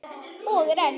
Og er enn.